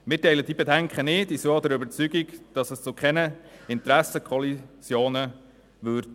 Wir teilen diese Bedenken nicht und sind der Überzeugung, dass es zu keinen Interessenkollisionen kommen würde.